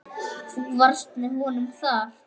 Þú varst með honum þar?